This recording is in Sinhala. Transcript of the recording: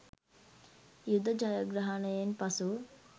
යුද ජයග්‍රහණයෙන් පසු